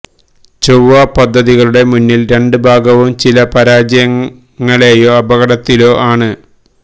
ചൊവ്വാ പദ്ധതികളുടെ മൂന്നിൽ രണ്ട് ഭാഗവും ചില പരാജയങ്ങളേയോ അപകടത്തിലോ ആണ്